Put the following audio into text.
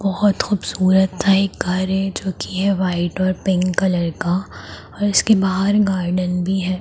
बहोत खूबसूरत सा एक घर है जो की है व्हाइट और पिंक कलर का और इसके बाहर एक गार्डन भी है।